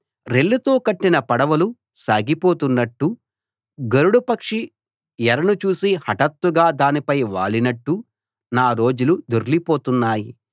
రెల్లుతో కట్టిన పడవలు సాగిపోతున్నట్టు గరుడపక్షి ఎరను చూసి హటాత్తుగా దానిపై వాలినట్టు నా రోజులు దొర్లిపోతున్నాయి